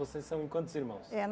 Vocês são em quantos irmãos? Eh